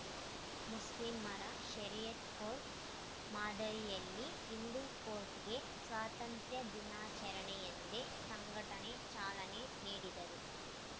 ಮುಸ್ಲಿಮರ ಷರಿಯತ್‌ ಕೋರ್ಟ್‌ ಮಾದರಿಯಲ್ಲಿ ಹಿಂದೂ ಕೋರ್ಟ್‌ಗೆ ಸ್ವಾತಂತ್ರ್ಯ ದಿನಾಚರಣೆಯಂದೇ ಸಂಘಟನೆ ಚಾಲನೆ ನೀಡಿದೆ